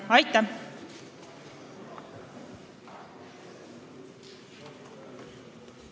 Aitäh!